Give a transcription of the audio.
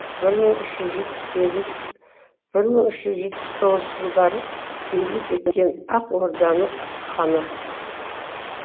бір мың үш жүз жетпіс сегіз бір мың үш жүз жетпіс тоғызыншы жылдары билік еткен ақ орданың ханы